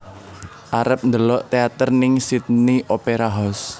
Arep ndelok teater ning Sydney Opera House